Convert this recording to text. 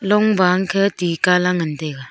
long ba angkhe tih Kala ngan taiga.